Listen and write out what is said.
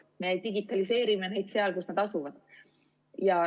Me digitaliseerimine neid seal, kus nad asuvad.